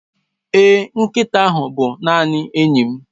Èé, nkịta ahụ bụ naanị enyi m.